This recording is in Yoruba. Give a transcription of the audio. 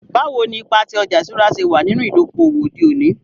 Bawo ni ipa ti ọja iṣura ṣe wa ninu idoko-owo ode oni?